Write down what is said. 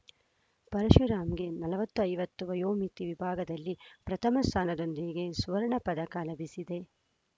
ಪರಶುರಾಮ್‌ಗೆ ನಲವತ್ತು ಐವತ್ತು ವಯೋಮಿತಿ ವಿಭಾಗದಲ್ಲಿ ಪ್ರಥಮ ಸ್ಥಾನದೊಂದಿಗೆ ಸ್ವರ್ಣಪದಕ ಲಭಿಸಿದೆ